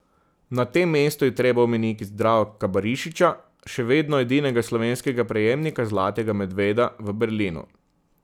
Na tem mestu je treba omeniti Zdravka Barišiča, še vedno edinega slovenskega prejemnika zlatega medveda v Berlinu.